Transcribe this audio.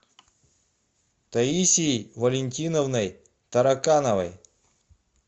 таисией валентиновной таракановой